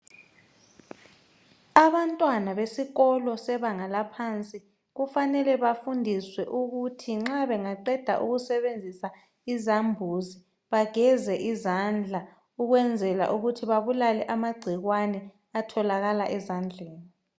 Abantwana besikolo sebanga laphansi kufanele befundiswe ukuthi nxa bengaqeda ukusebenzisa izambuzi bageze izandla ukwenzela ukuthi babulale amagcikwane atholakala ezandleni.